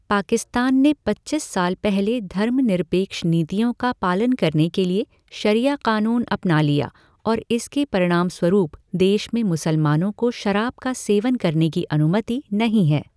पाकिस्तान ने पचीस साल पहले धर्मनिरपेक्ष नीतियों का पालन करने के लिए शरिया कानून अपना लिया और इसके परिणामस्वरूप देश में मुसलमानों को शराब का सेवन करने की अनुमति नहीं है।